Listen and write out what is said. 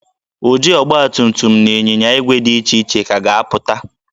Ụdị ọgbatumtum na ịnyinya ígwè dị iche iche ka ga-apụta